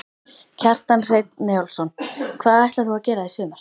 Kjartan Hreinn Njálsson: Hvað ætlar þú að gera í sumar?